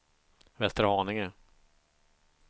Västerhaninge